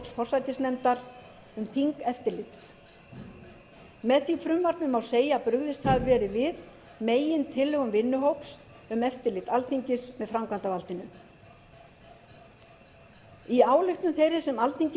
forsætisnefndar um þingeftirlit með því frumvarpi má segja að brugðist hafi verið við megintillögum vinnuhóps um eftirlit alþingis með framkvæmdarvaldinu í ályktun þeirri sem alþingi